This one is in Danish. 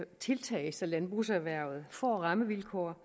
tiltag så landbrugserhvervet får rammevilkår